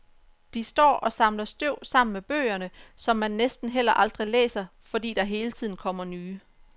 De står og samler støv sammen med bøgerne, som man næsten heller aldrig læser, fordi der hele tiden kommer nye.